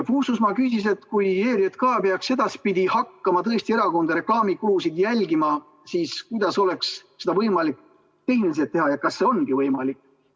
Puustusmaa küsis, et kui ERJK peaks edaspidi hakkama tõesti erakondade reklaamikulusid jälgima, siis kuidas oleks seda võimalik tehniliselt teha ja kas see ongi võimalik.